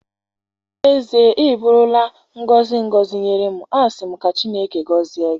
N'ezie, ị bụụrụ la ngọzi ngọzi nye m. Asị m ka Chineke gozie gi.